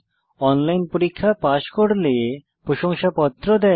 online পরীক্ষা pass করলে প্রশংসাপত্র দেয়